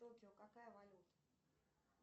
в токио какая валюта